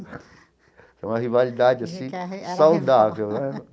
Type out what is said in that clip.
Foi uma rivalidade, assim, saudável né.